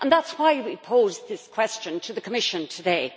That is why we posed this question to the Commission today.